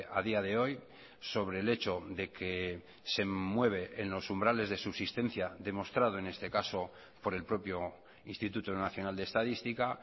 a día de hoy sobre el hecho de que se mueve en los umbrales de subsistencia demostrado en este caso por el propio instituto nacional de estadística